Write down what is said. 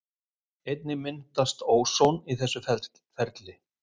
Einnig myndast óson í þessu ferli.